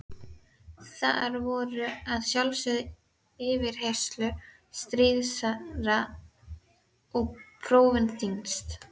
Þar voru að sjálfsögðu yfirheyrslur stríðastar og prófin þyngst.